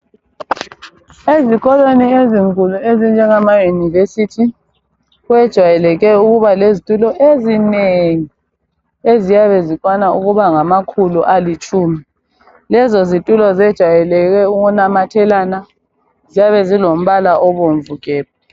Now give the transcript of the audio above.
Ezikolweni ezinkulu ezinjengama yunivesithi kwejayeleke ukubalezitulo ezinengi eziyabe zikwana ukuba ngamakhulu alitshumi. Lezo zitulo zejayeleke ukunamathelana ziyabe zilombala obomvu gebhu.